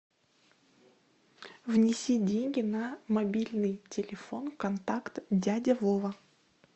внеси деньги на мобильный телефон контакт дядя вова